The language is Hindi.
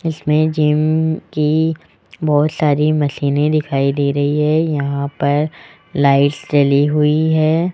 इसमें जिम की बहोत सारी मशीने दिखाई दे रही है यहां पर लाइट्स जली हुई है।